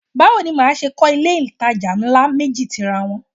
Báwo ni màá ṣe kọ́ ilé-ìtajà ńlá méjì tira wọn?